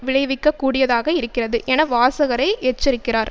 விளைவிக்க கூடியதாக இருக்கிறது என வாசகரை எச்சரிக்கிறார்